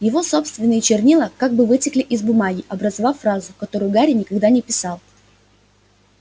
его собственные чернила как бы вытекли из бумаги образовав фразу которую гарри никогда не писал